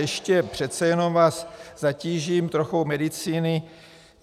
Ještě přece jenom vás zatížím trochou medicíny.